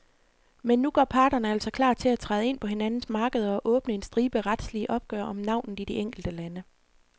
Men nu gør parterne altså klar til at træde ind på hinandens markeder og åbne en stribe retslige opgør om navnet i de enkelte lande.